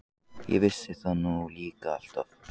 Ég vissi það nú líka alltaf!